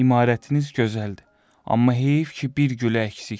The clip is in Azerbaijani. imarətiniz gözəldir, amma heyif ki, bir gülü əksikdir.